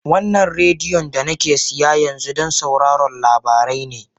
Wannan rediyon da nake siya yanzu don sauraron labarai ne